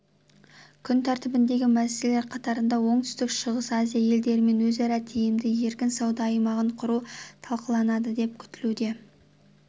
күн тәртібіндегі мәселелер қатарында оңтүстік-шығыс азия елдерімен өзара тиімді еркін сауда аймағын құру талқыланады деп күтілуде